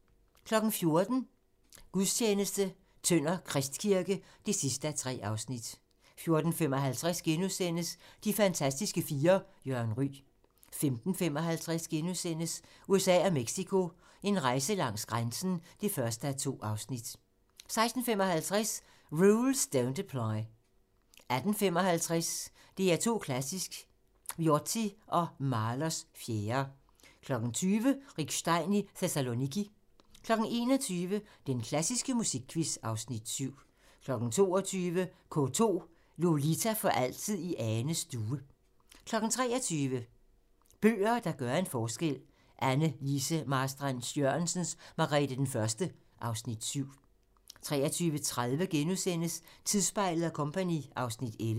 14:00: Gudstjeneste: Tønder Kristkirke (3:3) 14:55: De fantastiske fire: Jørgen Ryg * 15:55: USA og Mexico: En rejse langs grænsen (1:2)* 16:55: Rules Don't Apply 18:55: DR2 Klassisk: Viotti & Mahlers 4. 20:00: Rick Stein i Thessaloniki 21:00: Den klassiske musikquiz (Afs. 7) 22:00: K2: Lolita for altid i Anes stue 23:00: Bøger, der gør en forskel: Anne Lise Marstrand-Jørgensens "Margrete 1" (Afs. 7) 23:30: Troldspejlet & Co. (Afs. 11)*